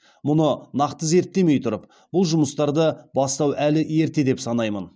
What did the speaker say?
мұны нақты зерттемей тұрып бұл жұмыстарды бастау әлі ерте деп санаймын